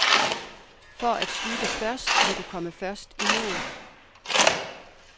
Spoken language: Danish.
For at slutte først, må du først komme i mål.